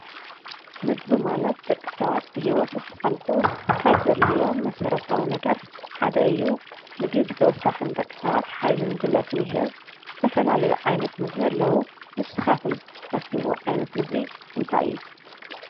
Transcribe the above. ምግቢ ማለት ደቂ ሰባት ብሂወት ንኽጸንሑ ካብ ዘድልዮም መሰረታዊ ነገራት ሓደ እዩ። ምግቢ ብተወሳኺ ንደቂ ሰባት ሓይልን ጉልበትን ይህብ ። ዝተፋላለዩ ዓይነት ምግቢ ኣለዉ። ንስኻትኩም እትፈትውዎ ዓይነት ምግቢ እንታይ እዩ?